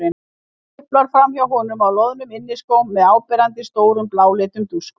Tiplar framhjá honum á loðnum inniskóm með áberandi stórum, bláleitum dúskum.